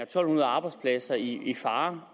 to hundrede arbejdspladser i fare